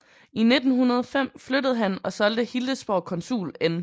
I 1905 flyttede han og solgte Hildesborg konsul N